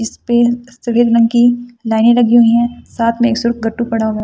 जिसपे सफेद रंग की लाइनें लगी हुई है साथ में एक पड़ा हुआ है।